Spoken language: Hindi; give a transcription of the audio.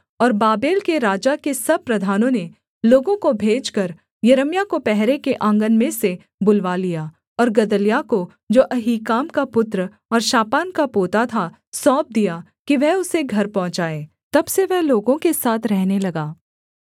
और बाबेल के राजा के सब प्रधानों ने लोगों को भेजकर यिर्मयाह को पहरे के आँगन में से बुलवा लिया और गदल्याह को जो अहीकाम का पुत्र और शापान का पोता था सौंप दिया कि वह उसे घर पहुँचाए तब से वह लोगों के साथ रहने लगा